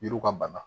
Yiriw ka bana